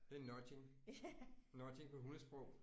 Det nudging. Nudging på hundesprog